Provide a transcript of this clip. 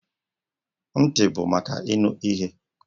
Ntị bụ maka ịnụ ihe.